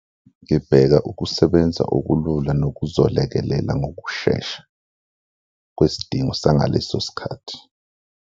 Ngibheka ukusebenza okulula nokuzolekelela ngokushesha kwesidingo sangaleso sikhathi.